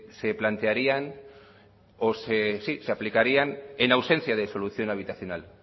se plantearían o se aplicarían en ausencia de solución habitacional